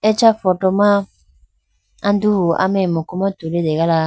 acha photo ma anduhu ameye muku ma tulitegala.